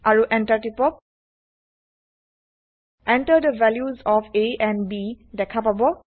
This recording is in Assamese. আৰু Enterটিপক Enter the values of a and b দেখা পাব